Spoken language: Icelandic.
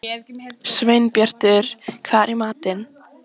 Sveinbjartur, hvað er í matinn?